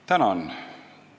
Tänan!